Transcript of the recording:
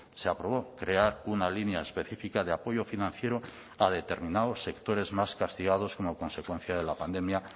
se aprobó crear una línea específica de apoyo financiero a determinados sectores más castigados como consecuencia de la pandemia